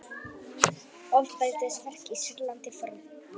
Ofbeldisverk í Sýrlandi fordæmd